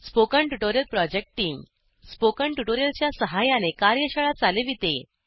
spoken tutorial project team spoken tutorial च्या सहाय्याने कार्यशाळा चालविते